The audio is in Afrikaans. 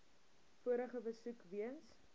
vorige besoek weens